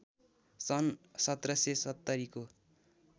सन् १७७० को